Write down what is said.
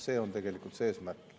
See on tegelikult eesmärk.